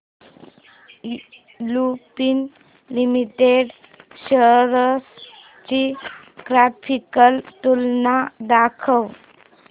Lupin Limited shares ची graphical तुलना दाखव